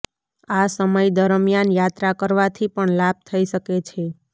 આ સમય દરમિયાન યાત્રા કરવાથી પણ લાભ થઈ શકે છે